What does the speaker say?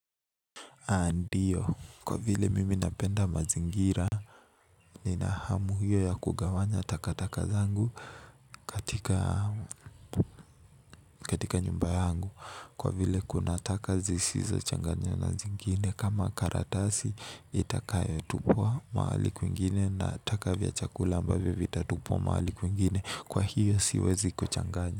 Ndiyo, kwa vile mimi napenda mazingira nina hamu hiyo ya kugawanya takataka zangu katika nyumba yangu kwa vile kuna taka zisizochanganywa na zingine kama karatasi itakayotupwa mahali kwingine na taka vya chakula ambavyo vitatupwa mahali kwingine kwa hiyo siwezi kuchanganya.